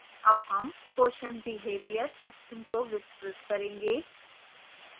अब हम question behaviour section को विस्तृत करेंगे